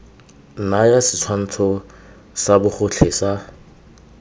naya setshwantsho sa bogotlhe sa